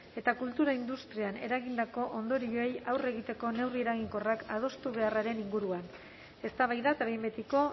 eta cultura industrian eragindako ondorioei aurre egiteko neurri eraginkorrak adostu beharraren inguruan eztabaida eta behin betiko